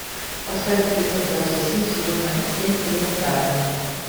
поставь эпизод двадцать семь сезона семь элементарно